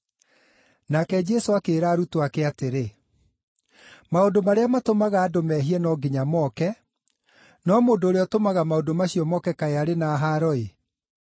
Nake Jesũ akĩĩra arutwo ake atĩrĩ, “Maũndũ marĩa matũmaga andũ mehie no nginya moke, no mũndũ ũrĩa ũtũmaga maũndũ macio moke kaĩ arĩ na haaro-ĩ!